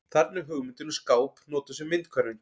Þarna er hugmyndin um skáp notuð sem myndhverfing.